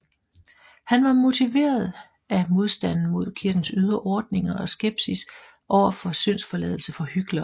Han var motiveret af modstand mod kirkens ydre ordninger og skepsis overfor syndsforladelse for hyklere